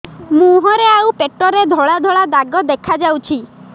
ମୁହଁରେ ଆଉ ପେଟରେ ଧଳା ଧଳା ଦାଗ ଦେଖାଯାଉଛି